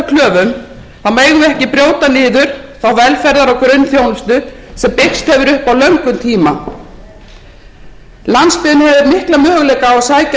þá megum við ekki brjóta niður þá velferðar og grunnþjónustu sem byggst hefur upp á löngum tíma landsbyggðin hefur mikla möguleika á að sækja